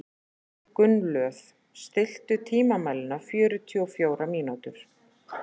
Gunnlöð, stilltu tímamælinn á fjörutíu og fjórar mínútur.